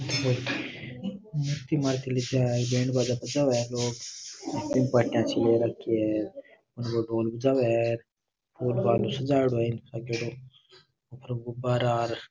मूर्ति मारती लेके आवे है बैंड बाजा बजावे है लोग ऊपर भाटा चेयर रखी है भवन सजा हुआ है फूल फाल से सजायेदो है ऊपर गुब्बारा र --